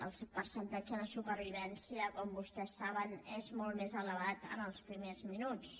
el percentatge de supervivència com vostès saben és molt més elevat en els primers minuts